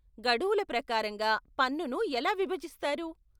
గడువుల ప్రకారంగా పన్నును ఎలా విభజిస్తారు?